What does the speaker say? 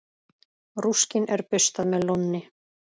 Rúskinn er burstað með lónni.